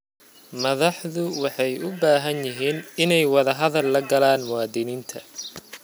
Madaxdu waxay u baahan yihiin inay wadahadal la galaan muwaadiniinta.